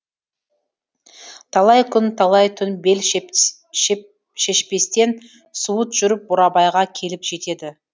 талай күн талай түн бел шешпестен суыт жүріп бурабайға келіп жетеді